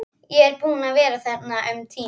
Hann lét þess ógetið hvert ferðinni væri heitið.